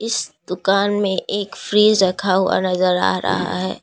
इस दुकान में एक फ्रिज रखा हुआ नजर आ रहा है।